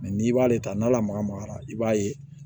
n'i b'ale ta n'ala magamagara i b'a ye